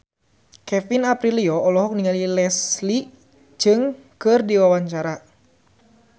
Kevin Aprilio olohok ningali Leslie Cheung keur diwawancara